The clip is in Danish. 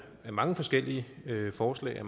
mange forskellige forslag af